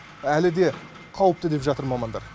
әлі де қауіпті деп жатыр мамандар